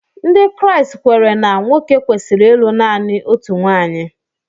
Ndị Kraịst kweere na nwoke kwesịrị ịlụ naanị otu nwaanyị.